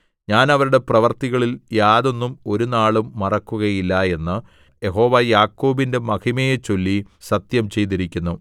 ഞാൻ അവരുടെ പ്രവൃത്തികളിൽ യാതൊന്നും ഒരുനാളും മറക്കുകയില്ല എന്ന് യഹോവ യാക്കോബിന്റെ മഹിമയെച്ചൊല്ലി സത്യം ചെയ്തിരിക്കുന്നു